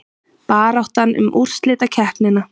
Baráttan um úrslitakeppnina